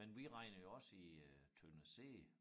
Men vi regner jo også i øh tønder sæde